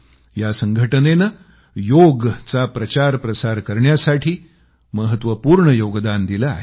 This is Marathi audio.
या संघटनेने योगाचा प्रचारप्रसार करण्यासाठी महत्वपूर्ण योगदान दिलं आहे